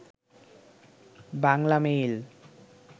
Banglamail